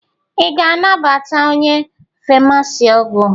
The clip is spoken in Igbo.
Ị ga-anata onye famasi ọgwụ?